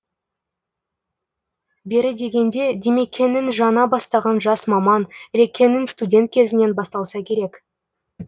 бері дегенде димекеңнің жаңа бастаған жас маман ілекеңнің студент кезінен басталса керек